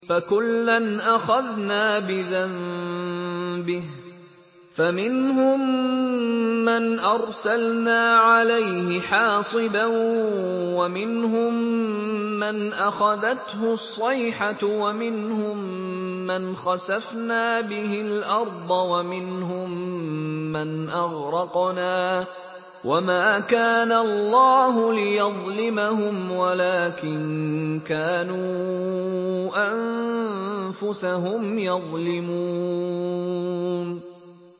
فَكُلًّا أَخَذْنَا بِذَنبِهِ ۖ فَمِنْهُم مَّنْ أَرْسَلْنَا عَلَيْهِ حَاصِبًا وَمِنْهُم مَّنْ أَخَذَتْهُ الصَّيْحَةُ وَمِنْهُم مَّنْ خَسَفْنَا بِهِ الْأَرْضَ وَمِنْهُم مَّنْ أَغْرَقْنَا ۚ وَمَا كَانَ اللَّهُ لِيَظْلِمَهُمْ وَلَٰكِن كَانُوا أَنفُسَهُمْ يَظْلِمُونَ